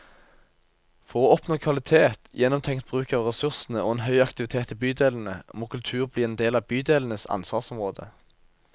For å oppnå kvalitet, gjennomtenkt bruk av ressursene og en høy aktivitet i bydelene, må kultur bli en del av bydelenes ansvarsområde.